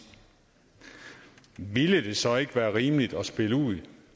ville det så ikke være rimeligt at spille ud